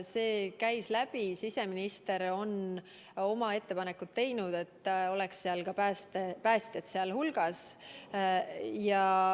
See teema käis läbi, siseminister on teinud ettepaneku, et ka päästjad oleks hulgas.